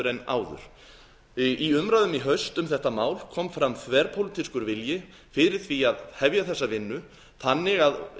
en áður í umræðum í haust um þetta mál kom fram þverpólitískur vilji fyrir því að hefja þessa vinnu þannig að